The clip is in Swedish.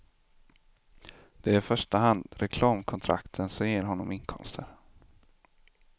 Det är i första hand reklamkontrakten som ger honom inkomster.